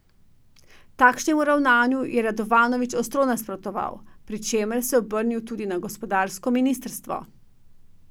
Takšnemu ravnanju je Radovanović ostro nasprotoval, pri čemer se je obrnil tudi na gospodarsko ministrstvo.